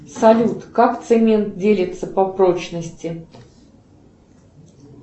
салют как цемент делится по прочности